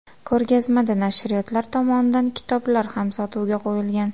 Ko‘rgazmada nashriyotlar tomonidan kitoblar ham sotuvga qo‘yilgan.